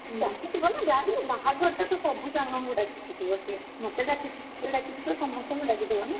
ଡାକିଥିବ ନା ଯାହାବି ହେଲେ ବାହାଘର ଟାନା ସବୁ ସାଙ୍ଗଙ୍କୁ ଡାକିଥିବ ସେ ମତେ ଡାକିଛି ତତେ ଡାକିଛି ମାନେ ତ ସମସ୍ତଙ୍କୁ ଡାକିଥିବ ନା।